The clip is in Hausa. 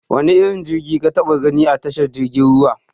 Wane irin jirgi ka taɓa gani a tashar jirgin ruwa?